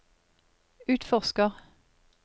utforsker